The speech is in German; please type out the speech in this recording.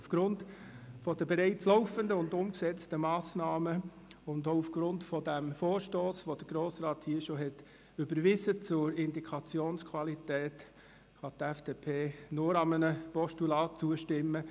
Aufgrund der bereits laufenden und umgesetzten Massnahmen und auch aufgrund des Vorstosses zur Indikationsqualität, den der Grosse Rat hier schon überwiesen hat, kann die FDP-Fraktion nur einem Postulat zustimmen.